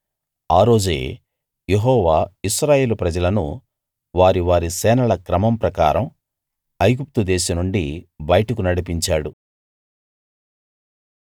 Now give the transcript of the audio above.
ఆ రోజే యెహోవా ఇశ్రాయేలు ప్రజలను వారి వారి సేనల క్రమం ప్రకారం ఐగుప్తు దేశం నుండి బయటకు నడిపించాడు